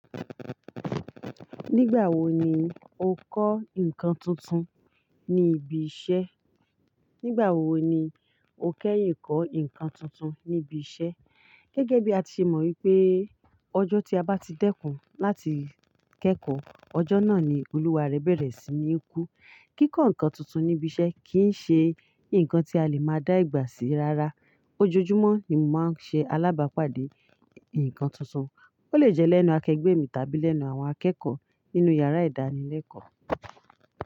Nígbàwo ni o kẹ́yin kọ́ nǹkan tuntun ní ibi iṣẹ́? Gẹ́gẹ́ bí a ti mọ̀ wípé ọjọ́ tí a bá ti dẹ́kun láti kẹ́kọ̀ọ́, ọjọ́ náà ni olúwa rẹ bẹ̀rẹ̀ sí ní kú. Kíkọ́ nǹkan tuntun ní ibi iṣẹ́ kìí ṣe nǹkan tí a lè máa dá ìgbà sí rárá. Ojoojúmọ́ ni mò máa ń ṣe alábàápàdé ǹkan tuntun. Ó lè jẹ́ lẹ́nu akẹgbẹ́ mi tàbí lẹ́nu àwọn akẹ́kọ̀ọ́ nínú yàrá ìdánilẹ́kọ̀ọ́.